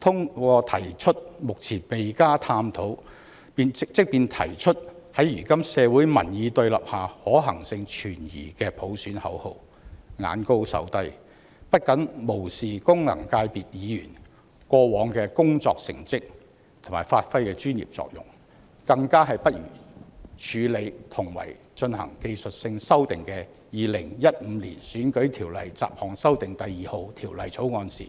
他們提出目前未加探討，在如今社會民意對立下，即使提出，可行性也存疑的普選口號，眼高手低，不僅無視功能界別議員過往的成績及發揮的專業作用，誠意更加不如處理同為進行技術性修訂的《2015年選舉法例條例草案》時，